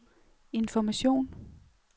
information